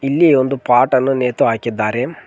ಇಲ್ಲಿ ಒಂದು ಪಾಟ್ ಅನ್ನು ನೇತು ಹಾಕಿದ್ದಾರೆ.